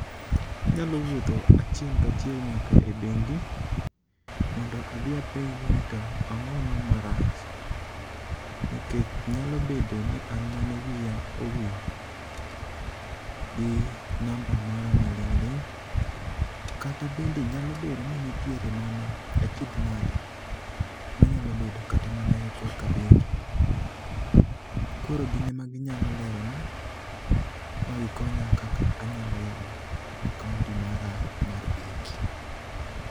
Anyalo wuotho achiel kachiel nyaka e bengi, mondo adhi apenji ni to ang'ono marach. Nikech nyalo bedo ni an mane wiya owil gi namba mara ma ling' ling', kata bende nyalo bedo ni nitiere mana achiedh nade. Manyalo bedo mana kata yo korka bengi, koro gin ama ginyalo lero na, ma gikonya kaka anyalo yawo akaonti mara mar bengi.